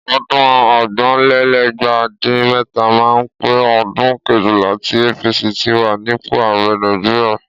Ọdún ọgbọ̀nlélẹ́gbàá dín mẹ́ta máa pé ọdún kejìlá tí APC ti wà nípò ààrẹ Nàìjíríà.